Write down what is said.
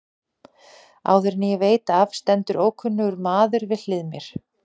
Áður en ég veit af stendur ókunnur maður við hlið mér.